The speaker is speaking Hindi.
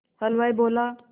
हलवाई बोला